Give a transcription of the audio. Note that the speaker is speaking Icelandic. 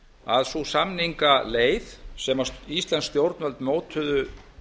að sú samningaleið sem íslensk stjórnvöld mótuðu